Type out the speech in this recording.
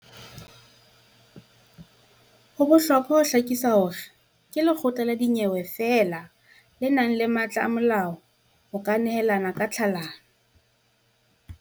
Ho bohlokwa ho hlakisa hore ke lekgotla la dinyewe feela le nang le matla a molao ho ka nehelana ka tlhalano.